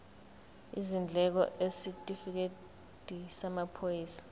izindleko isitifikedi samaphoyisa